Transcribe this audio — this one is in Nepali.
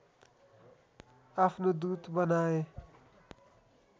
आफ्नो दूत बनाए